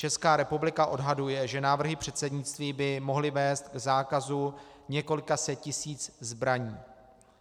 Česká republika odhaduje, že návrhy předsednictví by mohly vést k zákazu několika set tisíc zbraní.